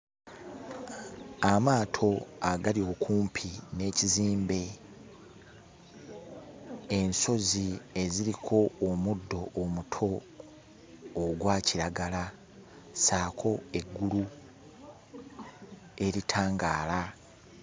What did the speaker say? Amaato agali okumpi n'ekizimbe, ensozi eziriko omuddo omuto ogwa kiragala saako eggulu eritangaala.